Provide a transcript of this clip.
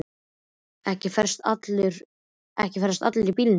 Og ekki ferðast allir í bílum.